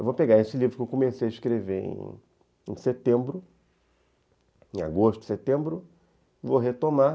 Eu vou pegar esse livro que eu comecei a escrever em setembro, em agosto, setembro, vou retomar